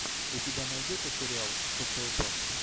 у тебя найдется сериал социопат